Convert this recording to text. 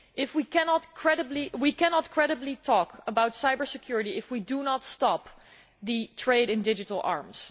We cannot credibly talk about cyber security if we do not stop the trade in digital arms.